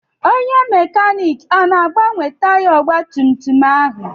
Onye mekaniiki ọ na-agbanwe taya ọgbatumtum ahụ?